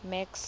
max